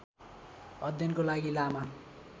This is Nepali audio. अध्ययनको लागि लामा